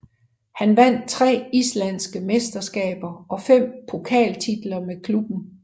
Han vandt tre islandske mesterskaber og fem pokaltitler med klubben